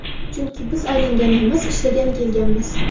Chunki biz aylangani emas, ishlagani kelganmiz.